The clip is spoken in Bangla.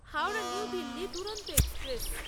হাওড়া নিউ দিল্লি দুরন্ত এক্সপ্রেস